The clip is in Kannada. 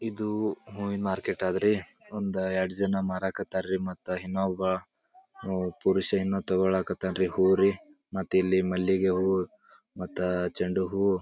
ಇದು ಹೂವಿನಾ ಮಾರ್ಕೆಟ್ ಅದರಿ ಒಂದು ಎರಡು ಜನ ಮಾರಕತರ ರೀ ಮತ್ತ ಇನ್ನೊಬ್ಬ ಪುರುಷ ಏನೋ ತಕೊಕಥಾರ ರೀ ಹೂ ರಿ ಮತ್ತೆ ಇಲ್ಲಿ ಮಲ್ಲಿಗೆ ಹೂವು ಮತ್ತ ಚಂಡು ಹೂ--